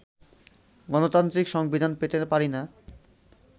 গণতান্ত্রিক সংবিধান পেতে পারি না